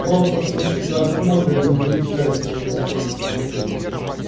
просто сквозь тебя смотрят и не замечают тебя